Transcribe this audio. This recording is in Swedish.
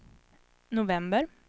november